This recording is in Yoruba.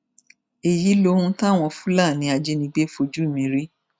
èyí lohun táwọn fúlàní ajínigbé fojú mi rí